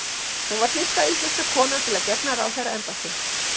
hún var fyrsta íslenska konan til að gegna ráðherraembætti